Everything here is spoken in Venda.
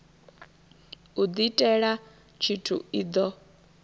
u diitela tshithu i do